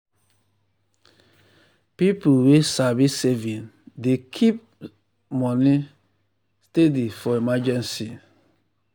people wey sabi saving dey keep um keep um small money um steady for emergency. um